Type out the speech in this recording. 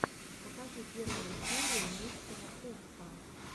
покажи первую серию мистера хувса